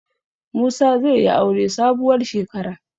Musa zai yi aure sabuwar shekara.